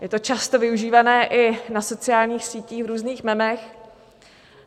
Je to často využívané i na sociálních sítích v různých memech.